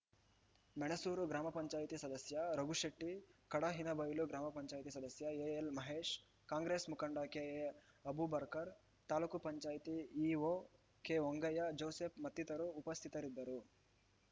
ಮೆಣಸೂರು ಗ್ರಾಮ ಪಂಚಾಯತಿ ಸದಸ್ಯ ರಘುಶೆಟ್ಟಿ ಕಡಹಿನಬೈಲು ಗ್ರಾಮ ಪಂಚಾಯತಿ ಸದಸ್ಯ ಎಎಲ್‌ ಮಹೇಶ್‌ ಕಾಂಗ್ರೆಸ್‌ ಮುಖಂಡ ಕೆಎ ಅಬೂಬರ್ಕರ್ ತಾಲೂಕೂ ಪಂಚಾಯತಿ ಇಓ ಕೆಹೊಂಗಯ್ಯ ಜೋಸೆಫ್‌ ಮತ್ತಿತರರು ಉಪಸ್ಥಿತರಿದ್ದರು